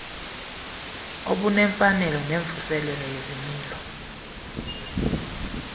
obunemfanelo nemvuselelo yezimilo